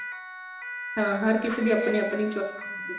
ਹਾਂ ਹਰ ਕਿਸੇ ਦੀ ਆਪਣੀ ਆਪਣੀ choice ਹੁੰਦੀ ਏ